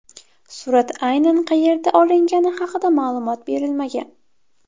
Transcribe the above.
Surat aynan qayerda olingani haqida ma’lumot berilmagan.